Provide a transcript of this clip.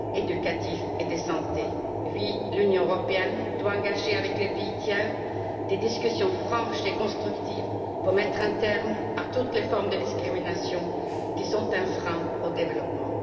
éducatifs et de santé. Oui, l'Union européenne doit engager avec les pays tiers des discussions franches et constructives pour mettre un terme à toutes les formes de discrimination, qui sont un frein au développement.